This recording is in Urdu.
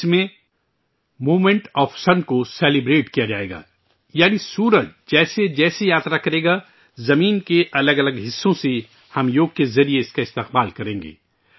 اس میں موومنٹ آف سن کو سیلیبریٹ کیا جائے گا، یعنی سورج جیسے جیسے سفر کرے گا ، زمین کے الگ الگ حصوں سے ، ہم یوگ کے ذریعہ، اس کا استقبال کریں گے